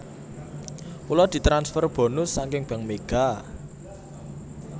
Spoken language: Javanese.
Kula ditransfer bonus saking Bank Mega